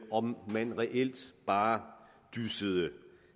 om man reelt bare dyssede